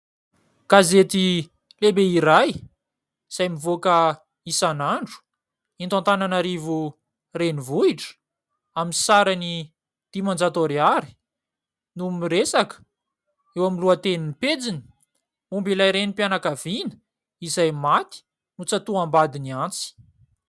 Gazety lehibe iray izay mivoaka isan'andro, eto Antanana rivo renivohitra, amin'ny sarany dimanjato ariary no miresaka eo amin'ny lohatenin'ny pejiny momba ilay Renim-pianakaviana izay maty notsatoham-badiny antsy.